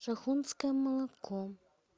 шахунское молоко